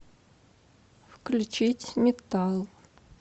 включить метал